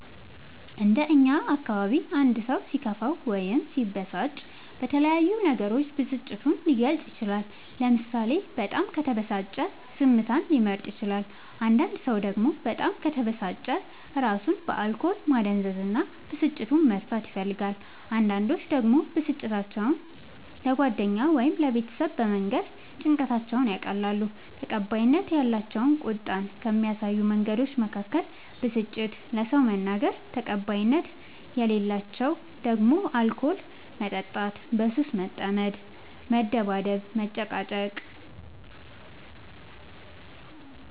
እንደ እኛ አካባቢ አንድ ሰው ሲከፋው ወይም ሲበሳጭ በተለያዩ ነገሮች ብስጭቱን ሊገልፅ ይችላል ለምሳሌ በጣም ከተበሳጨ ዝምታን ሊመርጥ ይችላል አንዳንድ ሰው ደግሞ በጣም ከተበሳጨ እራሱን በአልኮል ማደንዘዝ እና ብስጭቱን መርሳት ይፈልጋል አንዳንዶች ደግሞ ብስጭታቸው ለጓደኛ ወይም ለቤተሰብ በመንገር ጭንቀታቸውን ያቀላሉ። ተቀባይነት ያላቸው ቁጣን ከሚያሳዩ መንገዶች መካከል ብስጭትን ለሰው መናገር ተቀባይነት የሌላቸው ደግሞ አልኮል መጠጣት በሱስ መጠመድ መደባደብ መጨቃጨቅ